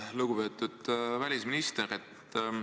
Lugupeetud välisminister!